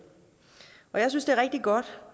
og jeg synes det er rigtig godt